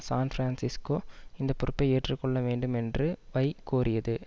San Francisco இந்த பொறுப்பை ஏற்று கொள்ள வேண்டுமென்று வை கோரியது